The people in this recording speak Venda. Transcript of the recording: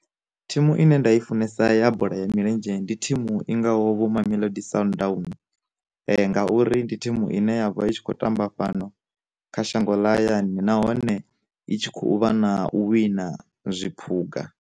Thimu ine nda i funesa ya bola ya milenzhe ndi thimu i ngaho vho mamelodi sundowns, ngauri ndi thimu ine ya vha i tshi khou tamba fhano kha shango ḽa hayani nahone itshi kho u vha na u wina zwiphuga.